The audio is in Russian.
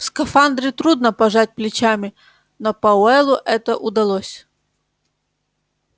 в скафандре трудно пожать плечами но пауэллу это удалось